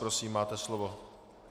Prosím, máte slovo.